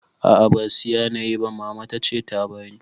A'a ba siya nayi ba Mama tace ta bani